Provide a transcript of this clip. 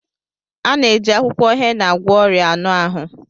A na-eji akwụkwọ hena agwọ ọrịa anụ ahụ